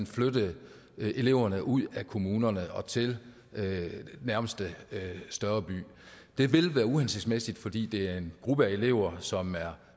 flytte eleverne ud af kommunerne og til nærmeste større by det vil være uhensigtsmæssigt fordi det er en gruppe af elever som er